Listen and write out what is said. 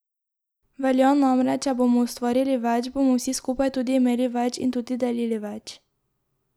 Velja namreč, če bomo ustvarili več, bomo vsi skupaj tudi imeli več in tudi delili več.